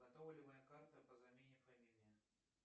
готова ли моя карта по замене фамилии